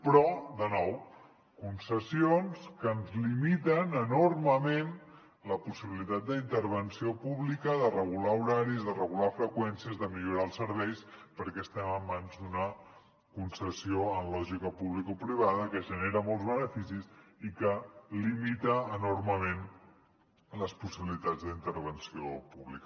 però de nou concessions que ens limiten enormement la possibilitat d’intervenció pública de regular horaris de regular freqüències de millorar els serveis perquè estem en mans d’una concessió en lògica publicoprivada que genera molts beneficis i que limita enormement les possibilitats d’intervenció pública